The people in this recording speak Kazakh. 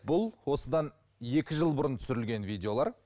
бұл осыдан екі жыл бұрын түсірілген видеолар